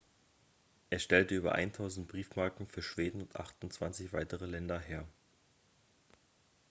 er stellte über 1.000 briefmarken für schweden und 28 weitere länder her